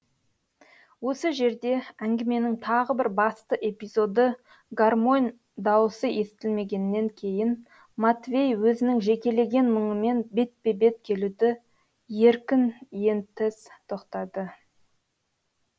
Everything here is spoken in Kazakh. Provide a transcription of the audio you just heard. осы жерде әңгіменің тағы бір басты эпизоды гармонь дауысы естілмегеннен кейін матвей өзінің жекелеген мұңымен бетпе бет келуді еркін ентыс тоқтады